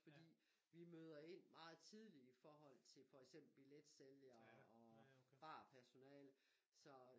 Fordi vi møder ind meget tidligt i forhold til for eksempel billetsælgere og barpersonale